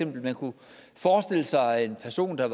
man kunne forestille sig en person der